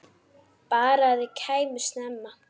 Bara að þau kæmu snemma.